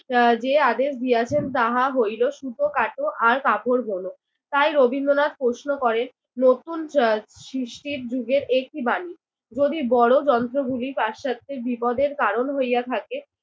আহ যে আদেশ দিয়াছেন তাহা হইল, সুতো কাট আর কাপড় বোনো। তাই রবীন্দ্রনাথ প্রশ্ন করেন নতুন চাট সৃষ্টির যুগের একি বাণী। যদি বড় যন্ত্রগুলি পাশ্চাত্যের বিপদের কারণ হইয়া থাকে